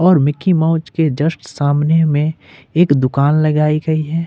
और Mickey Mouse के just सामने में एक दुकान लगाई गई है।